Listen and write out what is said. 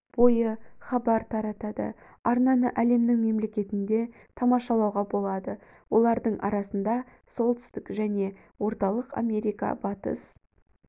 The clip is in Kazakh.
бойы хабар таратады арнаны әлемнің мемлекетінде тамашалауға болады олардың арасында солтүстік және орталық америка батыс